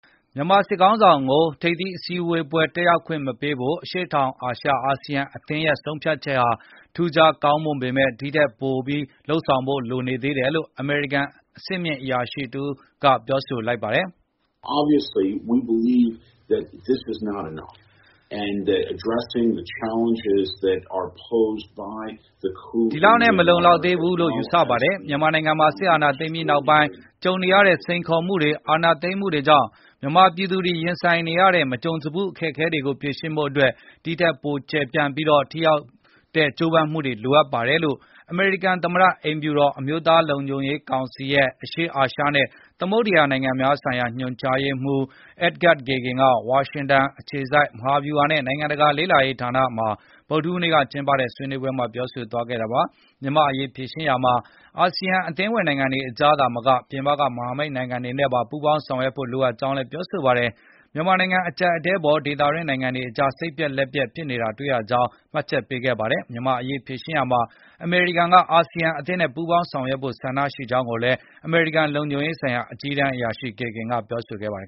မြန်မာစစ်ခေါင်းဆောင်ကို ထိပ်သီးအစည်းအဝေးပွဲ တက်ရောက်ခွင့် မပေးဖို့ အရှေ့တောင်အာရှ နိုင်ငံများအသင်း ရဲ့ ဆုံးဖြတ်ချက်ဟာ ထူးခြားကောင်းမွန်ပေမဲ့ ဒီထက်ပို လုပ်ဖို့လိုသေးတယ်လို့ အမေရိကန် အဆင့်မြင့် အရာရှိတယောက်က ပြောလိုက်ပါတယ်။ “ဒီလောက်နဲ့ မလုံလောက်သေးဘူးလို့ ယူဆပါတယ်။ မြန်မာနိုင်ငံမှာ စစ်အာဏာသိမ်းပြီးနောက်ပိုင်း ကြုံနေရတဲ့ စိန်ခေါ်မှုတွေ၊ အာဏာသိမ်းမှုကြောင့် မြန်မာပြည်သူတွေ ရင်ဆိုင်နေရတဲ့ မကြုံစဖူး အခက်အခဲတွေကို ဖြေရှင်းဖို့အတွက်၊ ဒီထက်ပို ကျယ်ပြန့်ပြီး ထိရောက်တဲ့ ကြိုးပမ်းမှုတွေ လိုအပ်ပါတယ်။” လို့ အမေရိကန်သမ္မတ အိမ်ဖြူတော် အမျိုးသားလုံခြုံရေးကောင်စီ်ရဲ့ အရှေ့အာရှနဲ့ သမုဒ္ဒရာနိုင်ငံများဆိုင်ရာ ညွှန်ကြားရေးမှူး Edgard Kagan က ဝါရှင်တန်အခြေစိုက် မဟာဗျုဟာနဲ့ နိုင်ငံတကာ လေ့လာရေးဌာနမှာ ဗုဒ္ဓဟူးနေ့က ကျင်းပတဲ့ ဆွေးနွေးပွဲမှာ ပြောဆိုသွားတာပါ။ မြန်မာ့အရေး ဖြေရှင်းရာမှာ အာဆီယံ အသင်းဝင် နိုင်ငံတွေကြား သာမက ပြင်ပက မဟာမိတ်နိုင်ငံတွေနဲ့ပါ ပူးပေါင်းဆောင်ရွက်ဖို့ လိုအပ်ကြောင်းလည်း ပြောပါတယ်။ မြန်မာနိုင်ငံ အကျပ်အတည်းအပေါ် ဒေသတွင်း နိုင်ငံတွေကြား စိတ်ပျက်လက်ပျက် ဖြစ်နေကြတာ တွေ့ရကြောင်းလည်း မှတ်ချက်ပေးခဲ့တာပါ။ မြန်မာ့အရေး ဖြေရှင်းရာမှာ အမေရိကန်က အာဆီယံ အသင်းနဲ့ ပူးပေါင်းဆောင်ရွက်ဖို့ ဆန္ဒရှိကြောင်းလည်း အမေရိကန်လုံခြုံရေးဆိုင်ရာအကြီးတန်းအရာရှိ Kagan ကပြောဆိုခဲ့ပါတယ်